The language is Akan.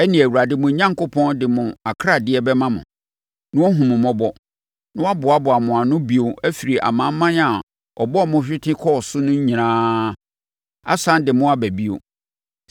ɛnneɛ, Awurade, mo Onyankopɔn de mo akradeɛ bɛma mo, na wahunu mo mmɔbɔ, na waboaboa mo ano bio afiri amanaman a ɔbɔɔ mo hwete kɔɔ so no nyinaa, asane de mo aba bio.